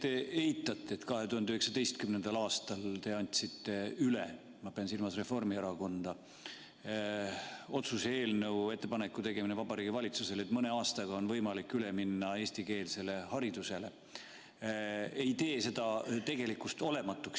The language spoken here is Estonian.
See, et te eitate, et te – ma pean silmas Reformierakonda – andsite 2019. aastal üle otsuse eelnõu, millega soovisite teha Vabariigi Valitsusele ettepaneku minna mõne aastaga üle eestikeelsele haridusele, ei tee tegelikkust olematuks.